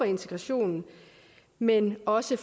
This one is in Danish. integrationens men også